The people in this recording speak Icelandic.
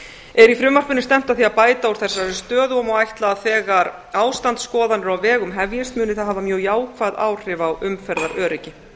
er í frumvarpinu stefnt að því að bæta úr þessari stöðu og má ætla að þegar ástandsskoðanir á vegum hefjist muni það hafa jákvæð áhrif á umferðaröryggi